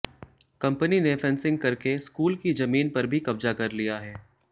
company ने fencing करके school की जमीन पर भी कब्जा कर लिया है